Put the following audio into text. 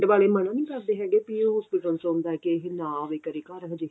ਵਾਲੇ ਮਨ੍ਹਾ ਨੀ ਕਰਦੇ ਹੈਗੇ ਵੀ ਇਹ hospital ਚੋਂ ਆਉਂਦਾ ਏ ਵੀ ਇਹ ਨਾ ਆਵੇ ਘਰੇ ਹਜੇ